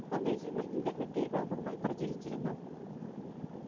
സന്ദേശങ്ങൾ internet ൽ വ്യാപകമായി പ്രചരിച്ചിരുന്നു.